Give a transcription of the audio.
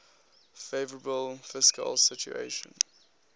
favourable fiscal situation